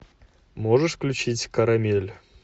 можешь включить карамель